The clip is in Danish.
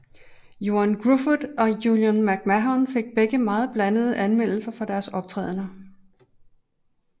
Ioan Gruffud og Julian McMahon fik begge meget blandede anmeldelser for deres optrædener